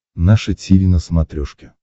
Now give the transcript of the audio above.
наше тиви на смотрешке